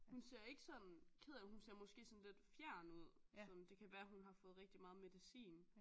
Hun ser ikke sådan ked af det ud hun ser måske sådan lidt fjern ud sådan det kan være hun har fået rigtigt meget medicin